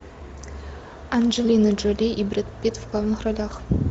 анджелина джоли и брэд питт в главных ролях